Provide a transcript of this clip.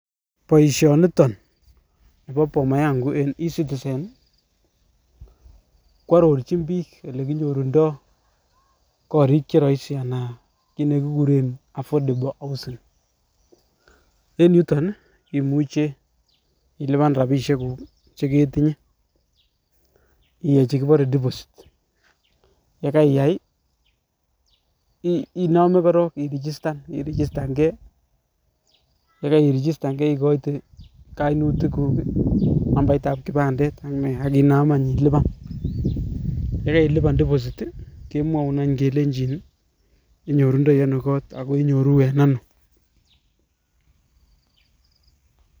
Poishoniton nepo boma yangu en ecitizen koarorchin pik olekinyorundoi korik che roisi ana kit nekikuren affordable housing en yuton imuche ilipan ropisiek kuk cheketinye iyai chekikure deposit yekaiyai ,inome korok iregistanke yekairegistangei igoite kainutik kuk, numbait ap kipandet akinam anyun ilipan, yekailipan deposit kemwoun anyun kelengin inyorundoi ano kot Ako inyorune ano